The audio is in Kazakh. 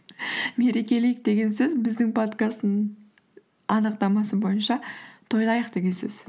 мерекелейік деген сөз біздің подкасттың анықтамасы бойынша тойлайық деген сөз